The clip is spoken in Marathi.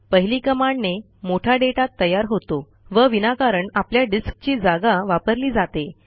पहिली कमांडने मोठा डेटा तयार होतो व विनाकारण आपल्या डिस्कची जागा वापरली जाते